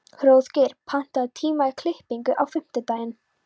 Hróðgeir, pantaðu tíma í klippingu á fimmtudaginn.